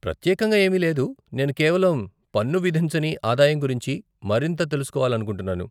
ప్రత్యేకంగా ఏమీ లేదు, నేను కేవలం పన్ను విధించని ఆదాయం గురించి మరింత తెలుసుకోవాలనుకుంటున్నాను.